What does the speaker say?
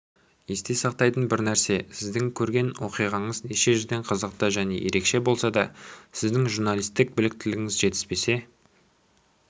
есте сақтайтын бір нәрсе сіздің көрген оқиғаңыз неше жерден қызықты және ерекше болса да сіздің журналистік біліктілігіңіз жетіспесе